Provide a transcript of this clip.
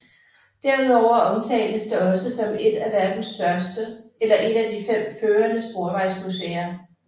Derudover omtales det også som et af verdens største eller en af de fem førende sporvejsmuseer